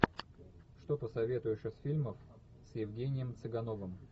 что посоветуешь из фильмов с евгением цыгановым